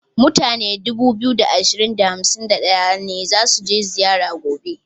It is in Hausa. Mutane 2251 ne za su je zira gobe.